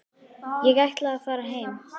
Ég ætla að fara heim.